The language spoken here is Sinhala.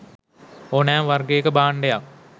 ඕනෑම වර්ගයක භාණ්ඩයක්